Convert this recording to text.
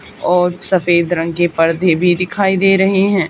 और सफेद रंग के पर्दे भी दिखाई दे रहे हैं।